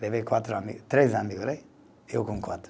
Levei quatro amigo, três amigo, eu com quatro.